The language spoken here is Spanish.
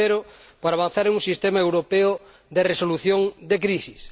tercero, para avanzar en un sistema europeo de resolución de crisis.